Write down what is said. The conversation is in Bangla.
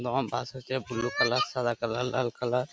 অনেক রকম বাস আছে ব্লু কালার সাদা কালার লাল কালার ।